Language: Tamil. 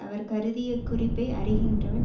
அவர் கருதிய குறிப்பை அறிகின்றவன்